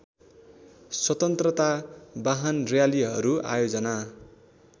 स्वतन्त्रता वाहनर्‍यालीहरू आयोजना